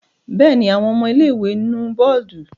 Bẹ́ẹ̀ ni, àwọn ọmọ ilé-ìwé nu bọ́ọ́dù.